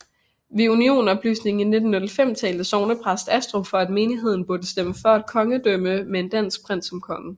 Ved unionopløsningen i 1905 talte sognepræst Astrup for at menigheden burde stemme for kongedømme med en dansk prins som konge